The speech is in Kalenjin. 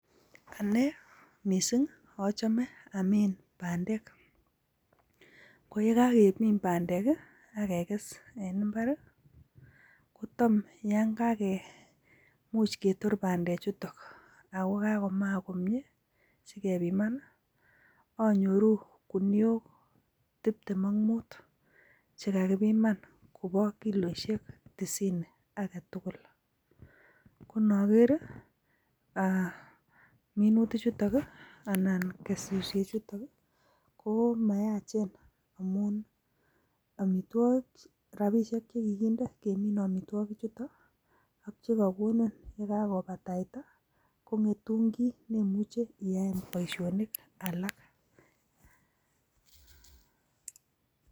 Ane missing a home Amin bandeek, koyekakeminbbandek ak kegess en imbaar i,kotom yon kakemuch ketor bandechutok ak kakomaak komie. Sikepiman anyoru guniok tibtem ak mut chekakipiman kobo kilisiek tisini agetugul. Konogeer i,minutikchuton anan kesisiyeet chutok ko mayachen, amun rabishek che kikinde kemine amitwogichutok ak chekakonin yekakobataitai kongetun kiy neimuche iyaen boishonik alak.